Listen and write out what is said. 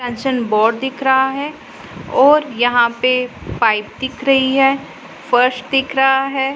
Sanction board दिख रहा है और यहां पे पाइप दिख रही है फर्श दिख रहा है।